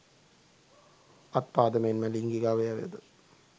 අත් පාද මෙන්ම ලිංගික අවයවද